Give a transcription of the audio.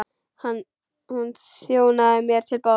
Hún þjónaði mér til borðs.